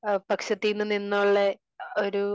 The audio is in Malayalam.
പക്ഷത്തിന്ന് നിന്നുള്ള ഒരു